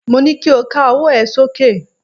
Mo ní kí o ká ọwọ́ ẹ sókè!